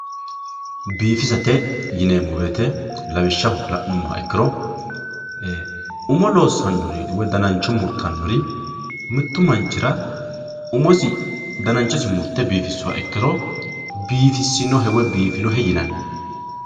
Bifisate yinemo woyite lawishaho lanumoha ikiro ee umi losanori woy danancho muritanori mittu manchira umosi dananchosi murte bifisuha ikiro bifisinohe woyi bifinohe yinanni